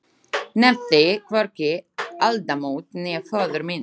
Nefndi hvorki aldamót né föður minn.